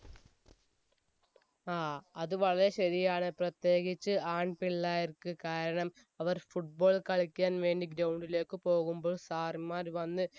ആ അത് വളരെ ശരിയാണ് പ്രതേകിച്ച് ആൺ പിള്ളേർക്ക് കാരണം അവർ football കളിക്കാൻ വേണ്ടി ground ലേക്ക് പോകുമ്പോ sir മാർ വന്ന്